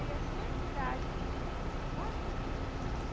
até idade novinha.